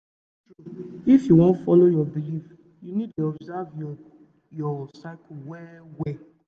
true true if you wan follow your belief you need dey observe your your cycle well well